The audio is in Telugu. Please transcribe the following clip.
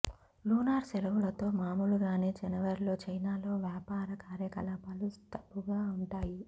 లూనార్ సెలవులతో మామూలుగానే జనవరిలో చైనాలో వ్యాపార కార్యకలాపాలు స్తబ్దుగా ఉంటాయి